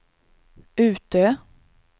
Utö